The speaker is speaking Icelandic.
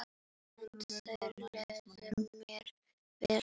En þarna leið mér vel.